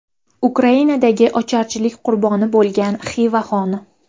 Ukrainadagi ocharchilik qurboni bo‘lgan Xiva xoni.